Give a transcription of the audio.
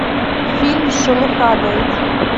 фильм шелуха найди